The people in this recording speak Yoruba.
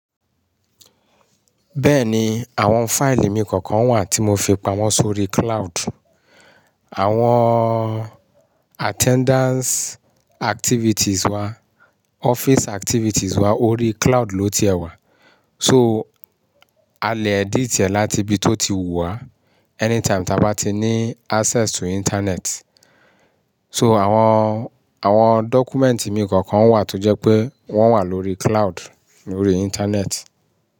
Bẹ́ẹ̀ni àwọn fáìlì mi kọ̀ọ̀kan wà tí mo fi pamọ́ sórí cloud. Àwọn attendance activities wa, office activities wa órí cloud ló ti ẹ̀ wà. So a lè edit ẹ̀ láti ibi tó ti wù wá anytime táa bá ti ní access to internet. So àwọn, àwọn dọ́kúmẹ̀ǹtì mi kọ̀ọ̀kan wà tó jẹ́ pé wọ́n wà lórí cloud, lórí internet.